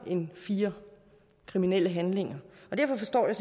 end fire kriminelle handlinger derfor forstår jeg